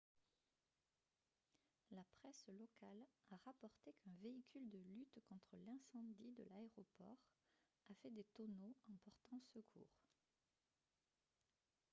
la presse locale a rapporté qu'un véhicule de lutte contre l'incendie de l'aéroport a fait des tonneaux en portant secours